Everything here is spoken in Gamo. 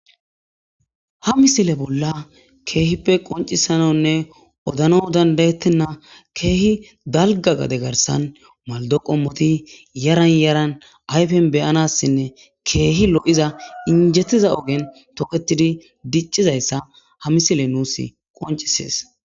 Ha misile bolla keehippe qoncisanonne odano dandayettenna keehi dalga gade garsan maldo qommoti yaran yaran ayfen beyanassinne keehi lo.iza injettiza ogen toketidi diccizayssa ha misile nuus qoncisees.